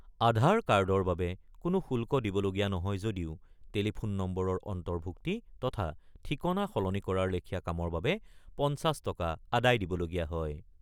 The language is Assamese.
আধাৰ কাৰ্ডৰ বাবে কোনো শুল্ক দিবলগীয়া নহয় যদিও টেলিফোন নম্বৰৰ অন্তৰ্ভূক্তি তথা ঠিকনা সলনি কৰাৰ লেখীয়া কামৰ বাবে ৫০ টকা আদায় দিবলগীয়া হয়।